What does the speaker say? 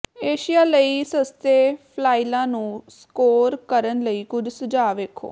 Asia ਲਈ ਸਸਤੇ ਫਲਾਈਲਾਂ ਨੂੰ ਸਕੋਰ ਕਰਨ ਲਈ ਕੁਝ ਸੁਝਾਅ ਵੇਖੋ